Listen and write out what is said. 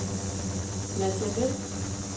Nadia Westh